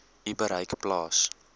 u bereik plaas